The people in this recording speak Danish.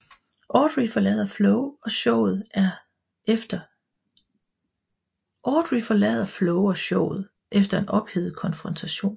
Audrey forlader Flo og showet efter en ophedet konfrontation